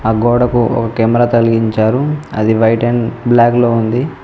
ఆ గోడకు ఒక కెమెరా తలిగించారు అది వైట్ అండ్ బ్లాక్ లో ఉంది.